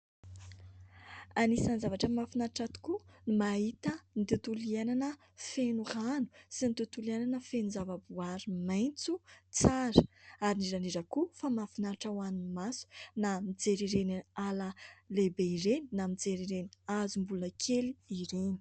Anisan'ny zavatra mahafinaritra tokoa ny mahita ny tontolo iainana feno rano sy ny tontolo iainana feno zava-boaary maitso tsara. Ary indrindra indrindra koa fa mahafinaritra ho an'ny maso na mijery ireny ala lehibe ireny na mijery ireny hazo mbola kely ireny.